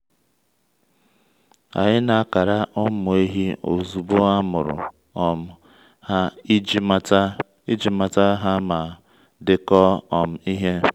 anyị na-akara ụmụ ehi ozugbo a mụrụ um ha iji mata iji mata ha ma dekọọ um ihe.